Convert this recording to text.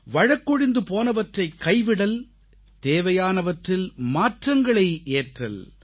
வழக்கொழிந்து போனவற்றைக் கைவிடல் தேவையானவற்றில் மாற்றங்களை ஏற்றல்